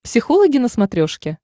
психологи на смотрешке